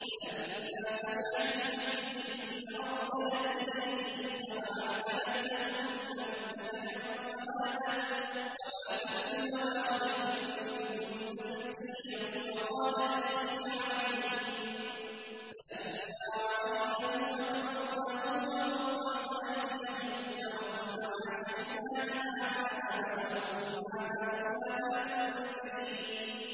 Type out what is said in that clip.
فَلَمَّا سَمِعَتْ بِمَكْرِهِنَّ أَرْسَلَتْ إِلَيْهِنَّ وَأَعْتَدَتْ لَهُنَّ مُتَّكَأً وَآتَتْ كُلَّ وَاحِدَةٍ مِّنْهُنَّ سِكِّينًا وَقَالَتِ اخْرُجْ عَلَيْهِنَّ ۖ فَلَمَّا رَأَيْنَهُ أَكْبَرْنَهُ وَقَطَّعْنَ أَيْدِيَهُنَّ وَقُلْنَ حَاشَ لِلَّهِ مَا هَٰذَا بَشَرًا إِنْ هَٰذَا إِلَّا مَلَكٌ كَرِيمٌ